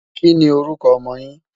kí ní orúkọ ọmọ yín?